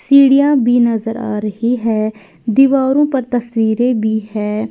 सीढ़ियां भी नजर आ रही है दीवारों पर तस्वीरें भी है।